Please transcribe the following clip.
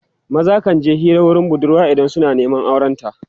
maza kan je Hira wurin budurwa idan suna Neman auren ta